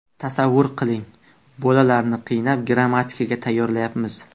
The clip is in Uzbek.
Tasavvur qiling, bolalarni qiynab, grammatikaga tayyorlayapmiz.